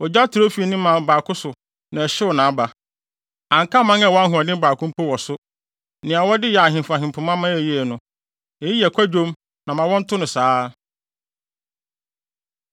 Ogya trɛw fii ne mman baako so na ɛhyew nʼaba. Anka mman a ɛwɔ ahoɔden baako mpo wɔ so; nea wɔde yɛ ahemfo ahempema ma ɛyɛ yiye no.’ Eyi yɛ kwadwom na ma wɔnto no saa.”